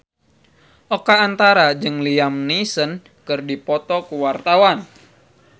Oka Antara jeung Liam Neeson keur dipoto ku wartawan